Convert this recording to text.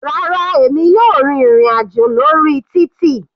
Rárá, èmi yóò rìn ìrin àjò lórí títì.